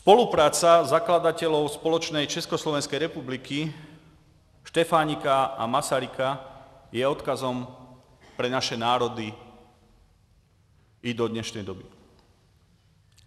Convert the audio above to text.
Spolupráce zakladatelů společné Československé republiky Štefánika a Masaryka je odkazem pro naše národy i do dnešní doby.